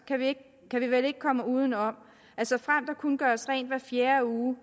kan vi vel ikke komme uden om at såfremt der kun gøres rent hver fjerde uge